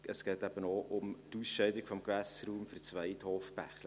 Es geht aber auch um die Ausscheidung des Gewässerraums für das Weidhofbächli.